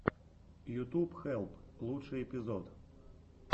ютуб хелп лучший эпизод